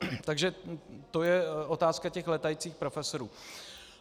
Takže to je otázka těch létajících profesorů.